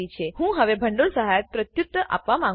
હું હવે ભંડોળ સહાય પ્રત્યુત્તર આપવા માંગું છુ